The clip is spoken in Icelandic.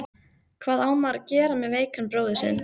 Hvað á maður að gera með veikan bróður sinn?